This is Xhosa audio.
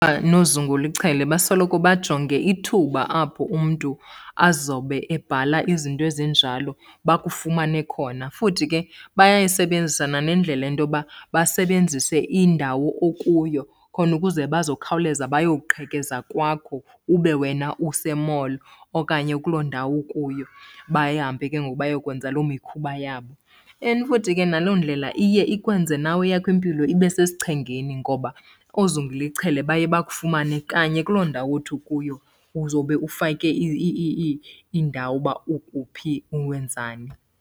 Noozungulichele basoloko bajonge ithuba apho umntu azobe ebhala izinto ezinjalo, bakufumane khona. Futhi ke bayayisebenzisa nanendlela into yoba basebenzise indawo okuyo khona ukuze bazokhawuleza bayoqhekeza kwakho ube wena use-mall okanye kuloo ndawo ukuyo, bahambe ke ngoku bayokwenza loo mikhuba yabo. And futhi ke naloo ndlela iye ikwenze nawe eyakho impilo ibe sesichengeni ngoba oozungulichele baye bakufumane kanye kuloo ndawo othi ukuyo, uzobe ufake indawo uba uphi wenzani.